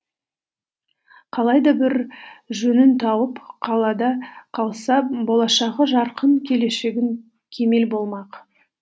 қалай да бір жөнін тауып қалада қалса болашағы жарқын келешегі кемел болмақ